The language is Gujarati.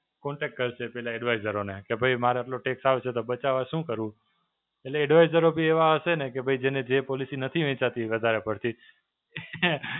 કોન્ટેક્ટ કરશે પેલા Advisors ને કે ભઇ મારે પેલું tax આવે છે, તો બચાવવા શું કરું? એટલે Advisors બી એવા હશે ને કે ભઇ જેને જે policy નથી એની સાથે વધારે પડતી